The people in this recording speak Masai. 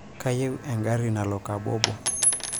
kayieu engarri nalo kobobo